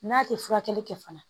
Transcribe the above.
N'a tɛ furakɛli kɛ fana